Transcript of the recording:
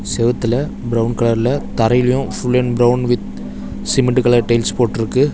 செவுத்துல பிரவுன் கலர்ல தரைலயு full and brown with cement colour tiles போட்ருக்கு.